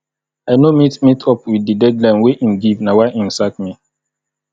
i no meet meet up wit di deadline wey im give na why im sack me